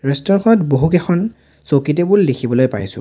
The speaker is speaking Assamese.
বহু কেইখন চকী টেবুল দেখিবলৈ পাইছোঁ।